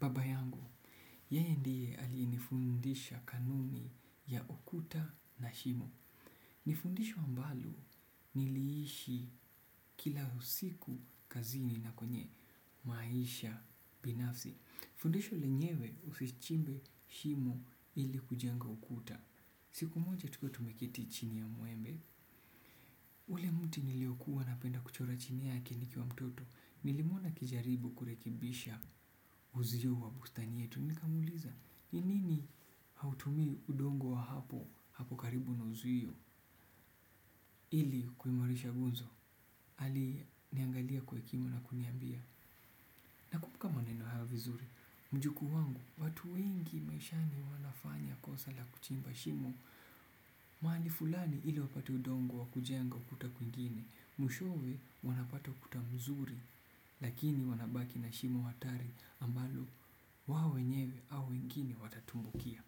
Baba yangu, yeye ndiye ali nifundisha kanuni ya kukuta na shimo. Ni fundisho ambalo niliishi kila usiku kazini na kwenye maisha binafsi. Fundisho lenyewe usichimbe shimo ili kujenga ukuta. Siku moja tuko tumeketi chini ya muembe. Ule mti niliokuwa napenda kuchora chini yake nikiwa mtoto. Nilimuonaa kijaribu kurekebisha uzio wa bustani yetu. Nika muliza, nini hautumii udongo wa hapo, hapo karibu na uzuio, ili kuimarisha guzo, ali niangalia kwe kimo na kuniambia. Na kumbuka maneno hyoa vizuri, mjukuu wangu, watu wengi maishani wanafanya kosa la kuchimba shimo, mahali fulani ili wapati udongo wa kujenga ukuta kuingine, mwishowe wanapata ukuta mzuri, lakini wanabaki na shimo hatari ambalo wao wenyewe au wengine watatumbukia.